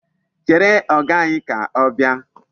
Chere Ọga anyị ka ọ bịa.